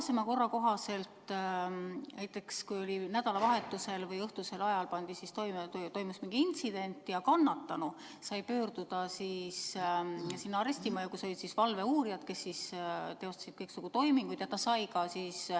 Senise korra kohaselt on olnud nii, et kui nädalavahetusel või õhtusel ajal toimus mingi intsident, siis kannatanu sai pöörduda arestimajja, kus on valveuurijad, kes teostavad kõiksugu toiminguid.